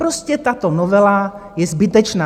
Prostě tato novela je zbytečná.